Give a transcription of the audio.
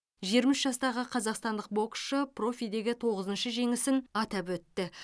жиырма үш жастағы қазақстандық боксшы профидегі тоғызыншы жеңісін атап өтті